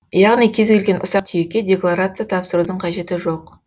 яғни кез келген ұсақ түйекке декларация тапсырудың қажеті жоқ